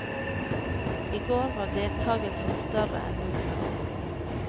I går var deltagelsen større enn noen gang.